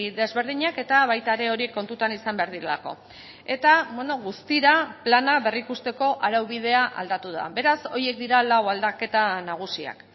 desberdinak eta baita ere hori kontutan izan behar direlako eta guztira plana berrikusteko araubidea aldatu da beraz horiek dira lau aldaketa nagusiak